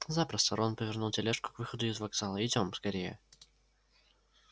запросто рон повернул тележку к выходу из вокзала идём скорее